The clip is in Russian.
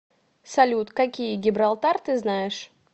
салют какие гибралтар ты знаешь